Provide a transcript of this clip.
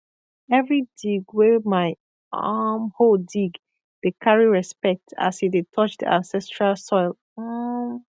every dig wey my um hoe dig dey carry respect as e dey touch the ancestral soil um